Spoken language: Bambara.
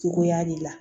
Cogoya de la